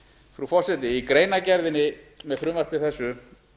frú forseti í greinargerðinni með frumvarpi þessu